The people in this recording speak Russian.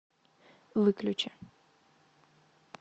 выключи